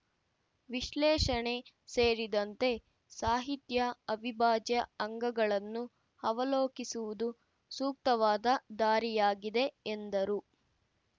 ವಿಶ್ಲೇಷಣೆ ಸೇರಿದಂತೆ ಸಾಹಿತ್ಯ ಅವಿಭಾಜ್ಯ ಅಂಗಗಳನ್ನು ಅವಲೋಕಿಸುವುದು ಸೂಕ್ತವಾದ ದಾರಿಯಾಗಿದೆ ಎಂದರು